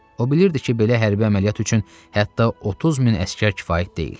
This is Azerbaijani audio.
O bilirdi ki, belə hərbi əməliyyat üçün hətta 30 min əsgər kifayət deyil.